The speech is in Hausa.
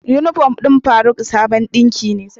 Unifom ɗin faruk dabon dinki ne